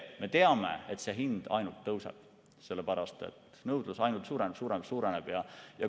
Me teame, et hind ainult tõuseb, sest nõudlus ainult suureneb, suureneb ja suureneb.